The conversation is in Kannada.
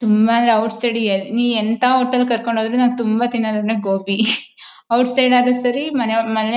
ತುಂಬ ಅಂದ್ರೆ ಔಟ್ ಸೈಡ್ ಎನಿ ಎಂತ ಹೋಟೆಲ್ ಕರ್ಕೊಂಡು ಹೋದ್ರೆ ತುಂಬಾ ದಿನದ ಅಂದ್ರೆ ಗೋಬಿ ಔಟ್ಸೈಡ್ ಆದರೆ ಸರಿ ಮನೆ ಮನೆ.